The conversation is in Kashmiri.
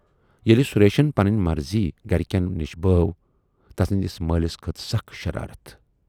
ییلہِ سُریشن پنٕنۍ مرضی گرِکٮ۪ن نِش بٲو، تسٕندِس مٲلِس کھٔژ سخ شرارتھ۔